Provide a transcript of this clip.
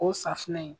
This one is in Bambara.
O safunɛ in